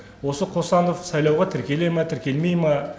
осы қосанов сайлауға тіркеледі ме тіркелмей ма